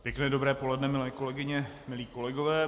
Pěkné dobré poledne, milé kolegyně, milí kolegové.